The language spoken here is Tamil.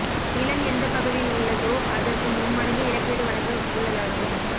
நிலம் எந்தப் பகுதியில் உள்ளதோ அதற்கு மும்மடங்கு இழப்பீடு வழங்க உள்ளதாகவும்